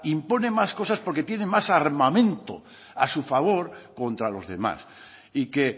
impone más cosas porque tiene más armamento a su favor contra los demás y que